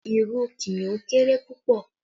Lion has a very small tail